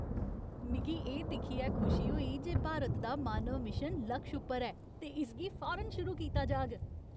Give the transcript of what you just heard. मिगी एह् दिक्खियै खुशी होई जे भारत दा मानव मिशन लक्ष उप्पर ऐ ते इसगी फौरन शुरू कीता जाह्ग।